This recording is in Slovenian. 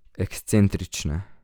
Ekscentrične.